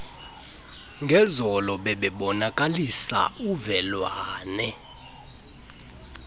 ngezolo bebebonakalisa uvelwane